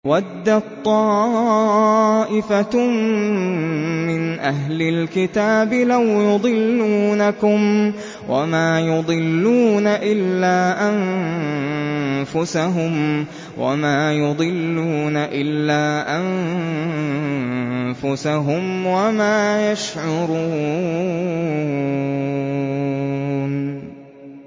وَدَّت طَّائِفَةٌ مِّنْ أَهْلِ الْكِتَابِ لَوْ يُضِلُّونَكُمْ وَمَا يُضِلُّونَ إِلَّا أَنفُسَهُمْ وَمَا يَشْعُرُونَ